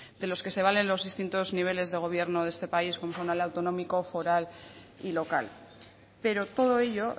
de los que se valen los distintos niveles de gobierno este país el autonómico foral y local pero todo ello